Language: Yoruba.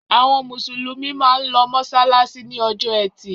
Àwọn Mùsùlùmí máa ń lọ mọ́ṣáláṣí ní ọjọ́ ẹtì.